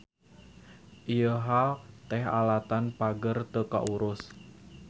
Ieu hal teh alatan pger teu kaurus.